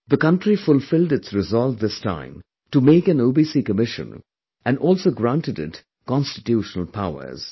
The country fulfilled its resolve this time to make an OBC Commission and also granted it Constitutional powers